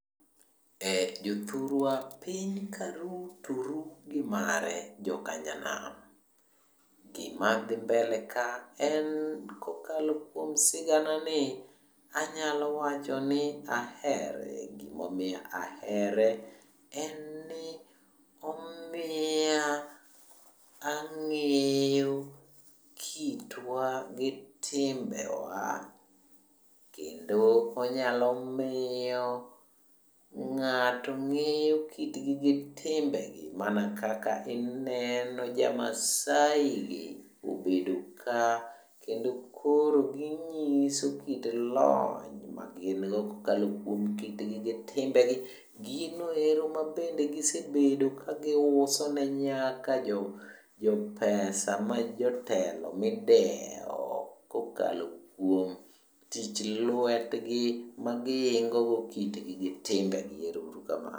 Jothurwa piny karu to ru gimage jokanyanam. Gima dhi mbele ka en ni kokalo kuom sigana ni, anyalo wacho ni ahere. Gimomiyo ahere, en ni omiya ang'eyo kitwa gi timbewa kendo onyalo miyo ng'ato ng'eyo kitgi gi timbegi mana kaka ineno jamaasai gi obedo ka kendo koro ging'iso kit lony magingo kokalo kuom kitgi gi timbegi. Gino ero ma bende gisebedo ka giuso ne nyaka jopesa ma jotelo mideo kokalo kuom tich lwetgi magiingo go kitgi gi timbegi. ero uru kamano.